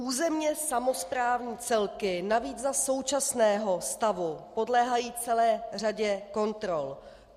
Územně samosprávní celky navíc za současného stavu podléhají celé řadě kontrol.